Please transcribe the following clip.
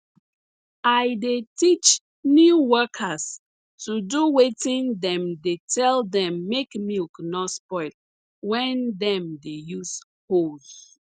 i dey teach new workers to do wetin dem dey tell dem make milk nor spoil when dem dey use hose